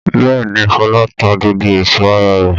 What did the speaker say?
Bẹ́ẹ̀ ni, Fọlá ta gbogbo ẹ̀sọ́ ara rẹ̀.